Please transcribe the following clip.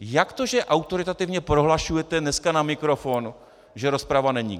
Jak to že autoritativně prohlašujete dneska na mikrofon, že rozprava není?